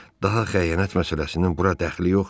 Daha xəyanət məsələsinin bura dəxli yoxdur.